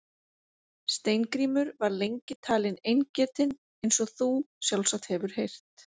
Steingrímur var lengi talinn eingetinn eins og þú sjálfsagt hefur heyrt.